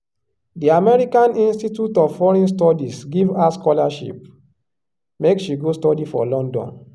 di american institute of foreign studies give her scholarship make she go study for london.